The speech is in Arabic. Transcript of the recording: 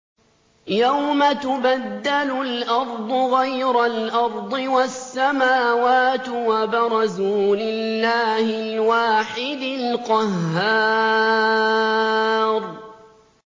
يَوْمَ تُبَدَّلُ الْأَرْضُ غَيْرَ الْأَرْضِ وَالسَّمَاوَاتُ ۖ وَبَرَزُوا لِلَّهِ الْوَاحِدِ الْقَهَّارِ